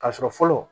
K'a sɔrɔ fɔlɔ